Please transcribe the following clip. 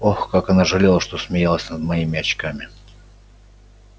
ох как она жалела что смеялась над моими очками